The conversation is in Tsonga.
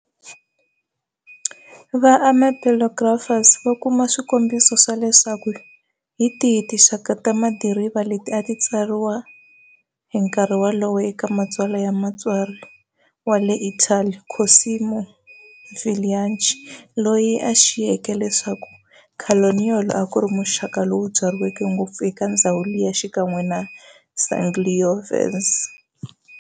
Va-ampelographers va kuma swikombiso swa leswaku hi tihi tinxaka ta madiriva leti a ti tsakeriwa hi nkarhi wolowo eka matsalwa ya mutsari wa le Italy Cosimo Villifranchi, loyi a xiyeke leswaku Canaiolo akuri muxaka lowu byariweke ngopfu eka ndzhawu liya xikan'we na Sangiovese.